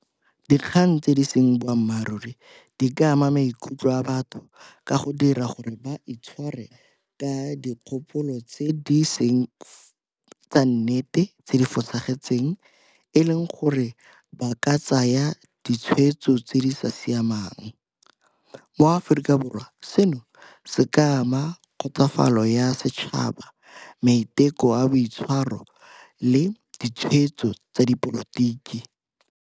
Dikgang tse di seng boammaaruri di ka ama maikutlo a batho ka go dira gore ba itshware ka dikgopolo tse di seng tsa nnete, tse di fosagetseng, e leng gore ba ka tsaya tsona ditshweetso tse di sa siamang. MoAforika Borwa seno se ka ama kgotsofalo ya setšhaba, maiteko a boitshwaro le ditshweetso tsa dipolotiki.